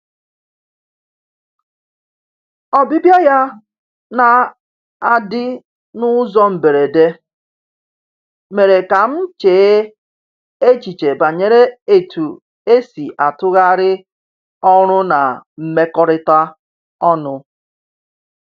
Ọbịbịa ya na-adị n’ụzọ mberede mere ka m chee echiche banyere etu esi atụgharị ọrụ na mmekọrịta ọnụ.